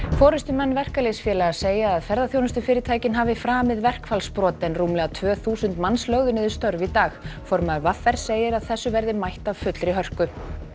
forystumenn verkalýðsfélaga segja að ferðaþjónustufyrirtæki hafi framið verkfallsbrot en rúmlega tvö þúsund manns lögðu niður störf í dag formaður v r segir að þessu verði mætt af fullri hörku